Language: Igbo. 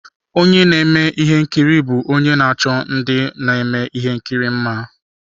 Onye na-eme ihe nkiri bụ onye na-achọ ndị na-eme ihe nkiri mma.